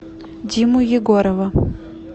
диму егорова